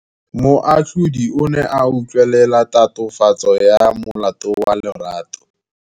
Moatlhodi o ne a utlwelela tatofatsô ya molato wa Lerato.